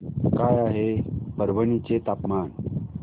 काय आहे परभणी चे तापमान